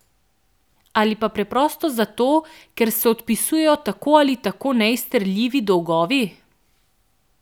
Ali pa preprosto zato, ker se odpisujejo tako ali tako neizterljivi dolgovi?